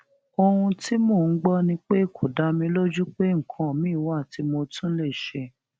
ohun tí mò ń gbọ ni pé kò dá mi lójú pé nǹkan miín wà tí mo tún lè ṣe